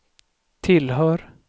tillhör